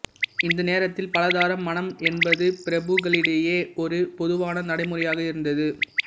இந்த நேரத்தில் பலதார மணம் என்பது பிரபுக்களிடையே ஒரு பொதுவான நடைமுறையாக இருந்தது